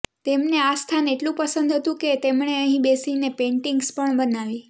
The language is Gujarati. તેમને આ સ્થાન એટલુ પસંદ હતુ કે તેમણે અહી બેસીને પેંટિગ્સ પણ બનાવી